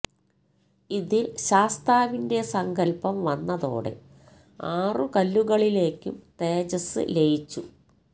ഇതില് ശാസ്താവിന്റെ സങ്കല്പ്പം വന്നതോടെ ആറ് കല്ലുകളിലേക്കും തേജസ്സ് ലയിച്ചു